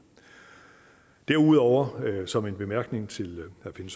derudover vil jeg som en bemærkning til herre finn